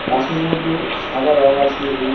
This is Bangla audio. ঘাসের মধ্যে সাদা রঙ আছে এবং--